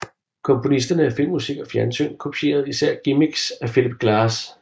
Komponisterne af filmmusik og fjernsyn kopierede især gimmicks af Philip Glass